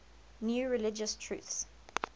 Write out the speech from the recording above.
new religious truths